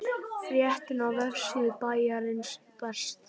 Fréttin á vefsíðu Bæjarins besta